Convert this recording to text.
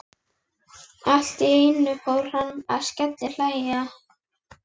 Þokan hékk ofan í miðjar hlíðar og reykurinn frá